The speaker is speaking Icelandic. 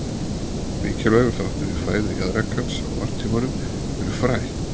Mikilvægur þáttur í fæðu jaðrakans á varptímanum eru fræ.